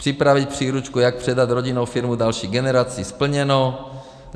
Připravit příručku, jak předat rodinnou firmu další generaci - splněno.